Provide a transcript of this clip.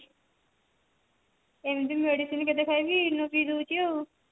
ଏମତି medicine କେତେ ଖାଇବି ENO ପିଇ ଦଉଛି ଆଉ